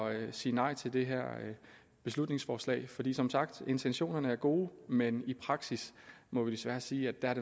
at sige nej til det her beslutningsforslag for som sagt er intentionerne gode men i praksis må vi desværre sige at